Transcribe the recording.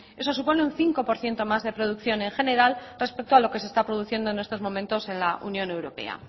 eso supone un cinco por ciento más de producción en general respecto a lo que se está produciendo en estos momentos en la unión europea